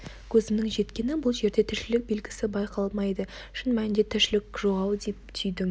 көзімнің жеткені бұл жерде тіршілік белгісі байқалмайды шын мәнінде тіршілік жоқ-ау деп түйдім